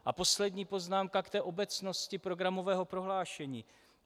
A poslední poznámka k té obecnosti programového prohlášení.